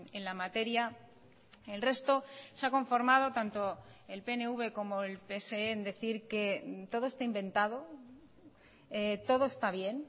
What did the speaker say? en la materia el resto se ha conformado tanto el pnv como el pse en decir que todo está inventado todo está bien